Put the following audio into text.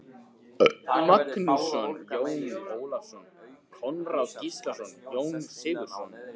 Magnússon, Jón Ólafsson, Konráð Gíslason, Jón Sigurðsson